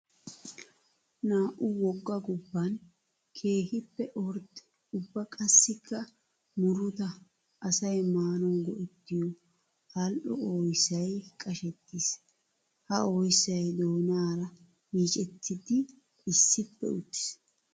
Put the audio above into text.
Naa'u wogga gobban keehippe ordde ubba qassikka murutta asay maanawu go'ettiyo ali'o oyssay qashettiis. Ha oyssay doonara yiiccettiddi issippe uttiis.